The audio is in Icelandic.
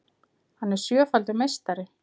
Hann er sjöfaldur meistari